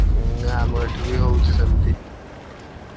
ଉଁ ଆମ ଏଠିବି ହଉଛି ସେମତି।